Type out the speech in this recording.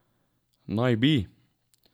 Naj bi?